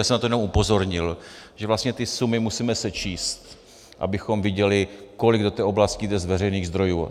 Já jsem na to jenom upozornil, že vlastně ty sumy musíme sečíst, abychom viděli, kolik do té oblasti jde z veřejných zdrojů.